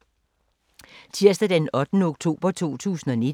Tirsdag d. 8. oktober 2019